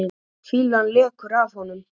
Fýlan lekur af honum.